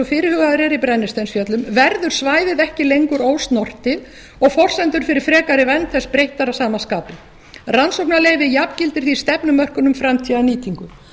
fyrirhugaðar eru í brennisteinsfjöllum verður svæðið ekki lengur ósnortið og forsendur fyrir frekari vernd þess breyttar að sama skapi rannsóknaleyfi jafngildir því stefnumörkun um framtíðarnýtingu